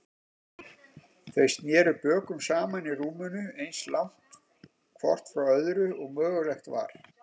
Þau sneru bökum saman í rúminu, eins langt hvort frá öðru og mögulegt var.